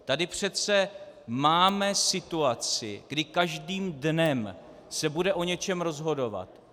Tady přece máme situaci, kdy každým dnem se bude o něčem rozhodovat.